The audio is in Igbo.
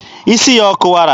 Isi ya ọ kụwara?